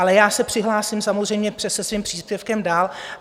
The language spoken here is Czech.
Ale já se přihlásím samozřejmě se svým příspěvkem dál.